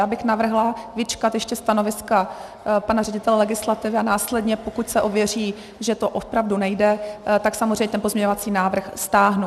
Já bych navrhla vyčkat ještě stanoviska pana ředitele legislativy a následně, pokud se ověří, že to opravdu nejde, tak samozřejmě ten pozměňovací návrh stáhnu.